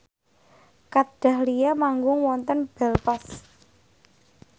Kat Dahlia manggung wonten Belfast